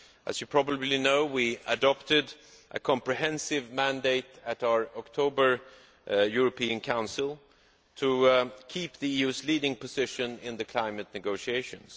As you probably know, we adopted a comprehensive mandate at our October European Council to keep the EU's leading position in the climate negotiations.